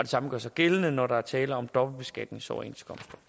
samme gør sig gældende når der er tale om dobbeltbeskatningsoverenskomster